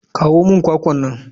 Kawo min kwakwa nan.